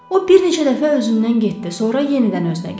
O bir neçə dəfə özündən getdi, sonra yenidən özünə gəldi.